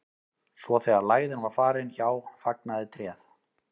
svo þegar lægðin var farin hjá fagnaði tréð